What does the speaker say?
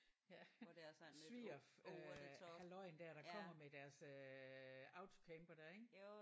Ja sviger øh halløjen der der kommer med deres øh autocamper der ik